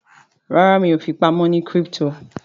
ràrá mi'o fipamọ ní crypto.